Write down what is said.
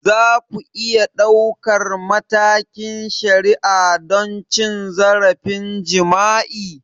Za ku iya ɗaukar matakin shari'a don cin zarafin jima'i?